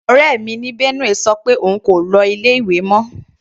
Ọ̀rẹ́ mi ní Benue sọ pé òun kò lọ ilé ìwé mọ.